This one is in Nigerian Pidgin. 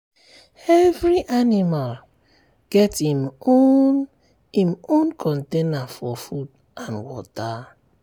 every animal get im own im own container for food and water.